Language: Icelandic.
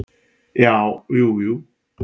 Já, jú jú.